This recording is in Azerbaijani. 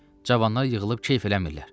Cavanlar yığılıb keyf eləmirlər.